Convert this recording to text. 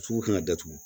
Sugu kan ka datugu